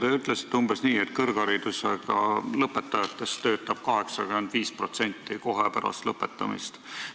Te ütlesite umbes nii, et kõrgkooli lõpetanutest läheb 85% kohe pärast lõpetamist tööle.